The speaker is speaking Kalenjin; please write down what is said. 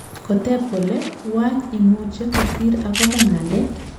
Koteb kole wany imuche kosir akoba nandet?